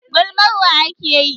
Gulmar wa ake yi?